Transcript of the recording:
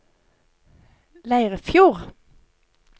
Leirfjord